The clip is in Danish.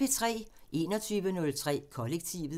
21:03: Kollektivet